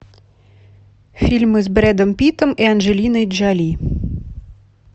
фильмы с брэдом питтом и анджелиной джоли